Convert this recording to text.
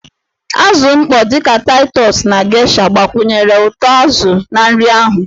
Azụ mkpọ dị ka Taịtọs na geisha gbakwunyere ụtọ azụ na nri ahụ.